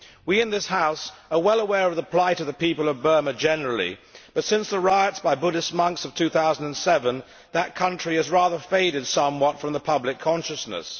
We in this House are well aware of the plight of the people of Burma generally, but since the riots by Buddhist monks of 2007, that country has rather faded somewhat from the public consciousness.